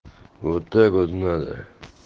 вот так вот надо